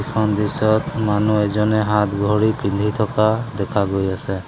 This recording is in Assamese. এইখন দৃশ্যত মানুহ এজনে হাতঘড়ী পিন্ধি থকা দেখা গৈ আছে।